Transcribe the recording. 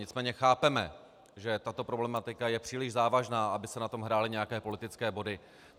Nicméně chápeme, že tato problematika je příliš závažná, aby se na tom hrály nějaké politické body.